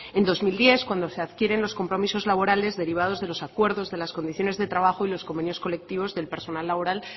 en dos mil diez cuando se adquieren los compromisos laborales derivados de los acuerdos de las condiciones de trabajo y los convenios colectivos del personal laboral